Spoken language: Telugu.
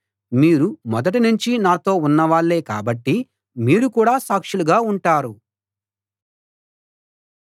మీరు మొదటి నుంచి నాతో ఉన్నవాళ్ళే కాబట్టి మీరు కూడా సాక్షులుగా ఉంటారు